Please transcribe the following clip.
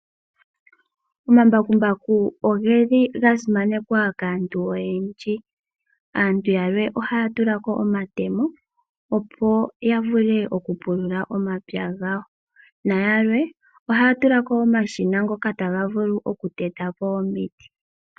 Omambakumbaku oga simanekwa kaantu oyendji. Aantu yamwe ohaya tula ko omatemo, opo ya vule okupulula omapya gawo. Nayalwe ohaya vulu okutula ko omashina, ngoka taga vulu okuteta po omiti.